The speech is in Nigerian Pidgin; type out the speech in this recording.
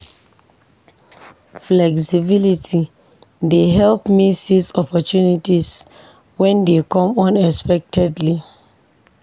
Flexibility dey help me seize opportunities when they come unexpectedly.